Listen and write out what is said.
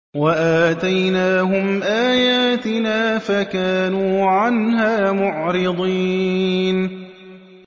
وَآتَيْنَاهُمْ آيَاتِنَا فَكَانُوا عَنْهَا مُعْرِضِينَ